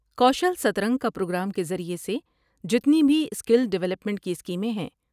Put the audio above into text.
کوشل سترنگ کا پروگرام کے ذریعہ سے جتنی بھی اسکیل ڈولپمنٹ کی اسکیمیں ہیں ۔